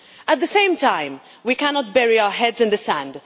At the same time, we cannot bury our heads in the sand.